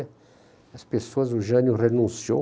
E as pessoas, o Jânio renunciou.